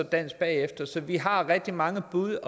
dansk bagefter så vi har rigtig mange bud